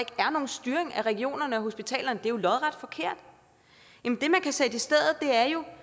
er nogen styring af regionerne og hospitalerne men det er jo